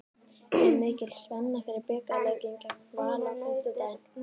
Er mikil spenna fyrir bikarleikinn gegn Val á fimmtudag?